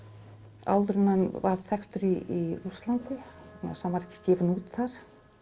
áður en hann varð þekktur í Rússlandi hann var ekki gefinn út þar